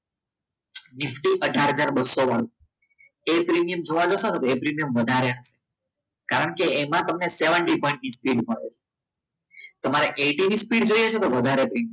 Nifty અઢાર હજાર બસો વાળું એ પ્રીમિયમ જોવા જસો ને તો એ વધારે કારણ કે એમાં તમને seventy પોઈન્ટ ની સ્પીપીડ મળશે તમારે eighty ની સ્પીડ જોઈએ છે તો વધારે પ્રીમિયમ ભરવું પડશે